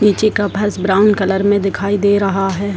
पीछे का फर्श ब्राउन कलर में दिखाई दे रहा है।